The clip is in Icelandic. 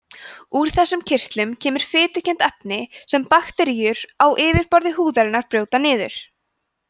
úr þessum kirtlum kemur fitukennt efni sem bakteríur á yfirborði húðarinnar brjóta niður